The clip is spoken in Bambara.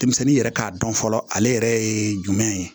Denmisɛnnin yɛrɛ k'a dɔn fɔlɔ ale yɛrɛ ye jumɛn ye